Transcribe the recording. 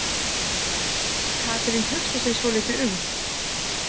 Katrín hugsar sig svolítið um.